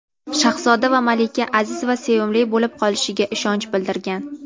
shahzoda va malika aziz va sevimli bo‘lib qolishiga ishonch bildirgan.